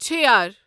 چھیر